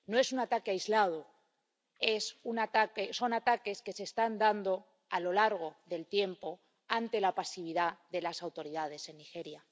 No es un ataque aislado, son ataques que se están dando a lo largo del tiempo, ante la pasividad de las autoridades en Nigeria.